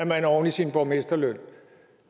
man oven i sin borgmesterløn